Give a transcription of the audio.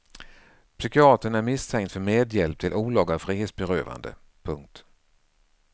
Psykiatern är misstänkt för medhjälp till olaga frihetsberövande. punkt